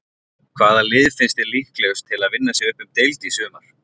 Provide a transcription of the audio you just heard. Hvaða lið finnst þér líklegust til að vinna sig upp um deild í sumar?